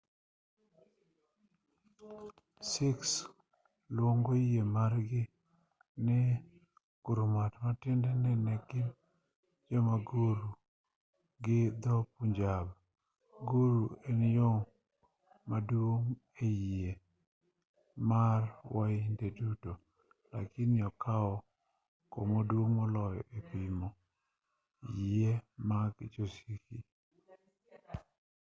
sikhs luongo yie margi ni gurmat matiende en yo mar guru gi dho punjab guru en yoo maduong e yie mar wainde duto lakini okao kamaduong' moloyo epimo yie mag jo sikhi